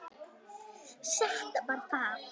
Sætt var það.